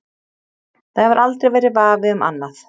Það hefur aldrei verið vafi um annað.